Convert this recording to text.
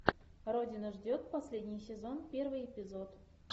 родина ждет последний сезон первый эпизод